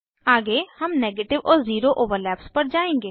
आगे हम नेगेटिव और ज़ीरो ओवरलैप्स पर जायेंगे